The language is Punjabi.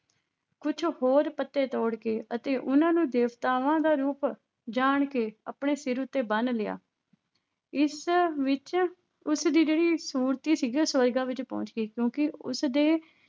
ਕੁੱਝ ਹੋਰ ਪੱਤੇ ਤੋੜ ਕੇ ਅਤੇ ਉਹਨਾਂ ਨੂੰ ਦੇਵਤਾਵਾਂ ਦਾ ਰੂਪ ਜਾਣ ਕੇ ਆਪਣੇ ਸਿਰ ਉੱਤੇ ਬੰਨ੍ਹ ਲਿਆ ਇਸ ਵਿੱਚ ਉਸਦੀ ਜਿਹੜੀ ਸੂਰਤੀ ਸੀਗੀ ਉਹ ਸਵਰਗਾਂ ਵਿੱਚ ਪਹੁੰਚ ਗਈ ਕਿਉਂਕਿ ਉਸਦੇ